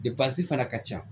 fana ka ca